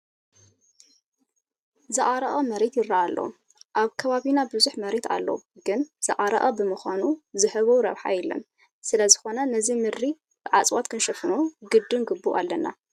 ዝዓረቐ መሬት ይርአ ኣሎ፡፡ ኣብ ከባቢና ብዙሕ መሬት ኣሎ ግን ዝዓረቐ ብምዃኑ ዝህቦ ረብሓ የለን፡፡ ስለዝኾነ ነዚ ምድሪ ብእፅዋት ክንሽፍኖ ግድን ግቡእ ኣለና፡፡